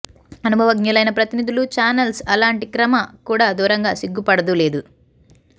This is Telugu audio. అనుభవజ్ఞులైన ప్రతినిధులు చానెల్స్ అలాంటి క్రమ కూడా దూరంగా సిగ్గుపడదు లేదు